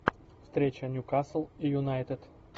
встреча ньюкасл и юнайтед